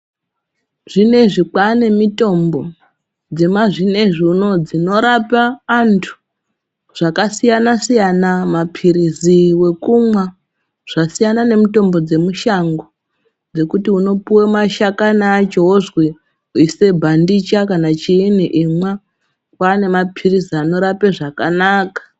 Zvinezvi kwaane mutombo dzemazvinezvi unowu dzinorapa antu zvakasiyana siyana mapirizi ekumwa zvasiyana nemutombo dzemushango dzekuti unopuwe mashakani acho wozwi ise bandicha kana chiini imwa kwaane mapirizi anorape zvakanaka.